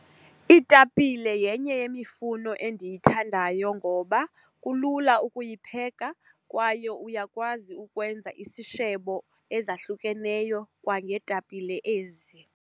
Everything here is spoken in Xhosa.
Iitapile yenye yemifuno endiyithandayo ngoba kulula ukuyipheka kwaye uyakwazi ukwenza isishebo ezahlukeneyo kwangeetapile ezi.